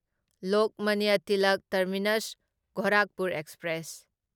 Lokmanya Tilak terminus Gorakhpur express